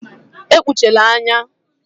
Ekpuchala anya.